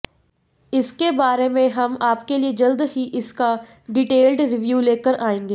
इस बारे में हम आपके लिए जल्द ही इसका डिटेल्ड रिव्यू लेकर आएंगे